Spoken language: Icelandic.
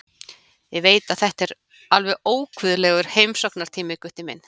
Ég veit að þetta er alveg óguðlegur heimsóknartími, Gutti minn.